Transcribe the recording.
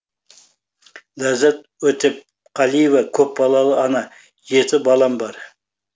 ләззат өтепқалиева көпбалалы ана жеті балам бар